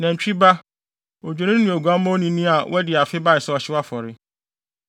nantwi ba, odwennini ne oguamma onini a wadi afe bae sɛ ɔhyew afɔre;